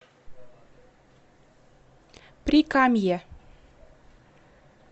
прикамье